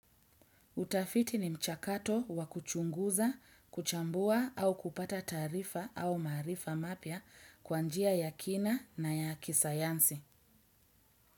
Utafiti ni mchakato wakuchunguza, kuchambua au kupata tarifa au marifa mapia kwanjia ya kina na ya kisayansi.